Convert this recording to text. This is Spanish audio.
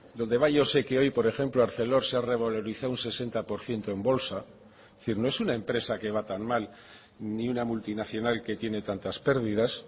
dónde va yo sé que hoy por ejemplo arcelor se ha revalorizado un sesenta por ciento en bolsa es decir no es una empresa que va tan mal ni una multinacional que tiene tantas pérdidas